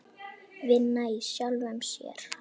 Vinna í sjálfum sér.